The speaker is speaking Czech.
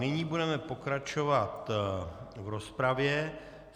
Nyní budeme pokračovat v rozpravě.